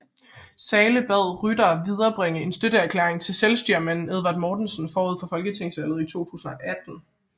Zahle bad Rytter viderebringe en støtteerklæring til selvstyremanden Edward Mortensen forud for folketingsvalget i 1918